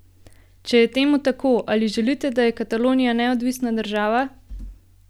Če je temu tako, ali želite, da je Katalonija neodvisna država?